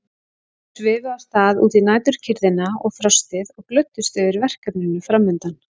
Þau svifu af stað út í næturkyrrðina og frostið og glöddust yfir verkefninu framundan.